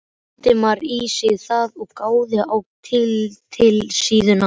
Valdimar sig í það og gáði á titilsíðuna.